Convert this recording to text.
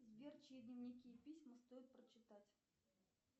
сбер чьи дневники и письма стоит прочитать